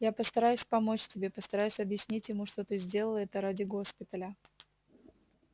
я постараюсь помочь тебе постараюсь объяснить ему что ты сделала это ради госпиталя